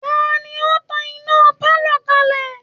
Ta ni ó tan iná pálọ̀ kalẹ̀